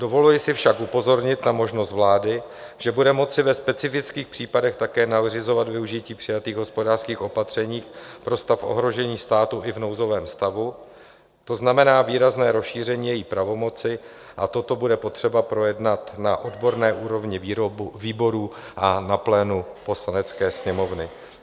Dovoluji si však upozornit na možnost vlády, že bude moci ve specifických případech také nařizovat využití přijatých hospodářských opatření pro stav ohrožení státu i v nouzovém stavu, to znamená výrazné rozšíření její pravomoci, a toto bude potřeba projednat na odborné úrovni výborů a na plénu Poslanecké sněmovny.